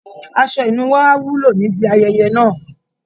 Aṣọ ìnuwọ́ á wúlò níbi ayẹyẹ náà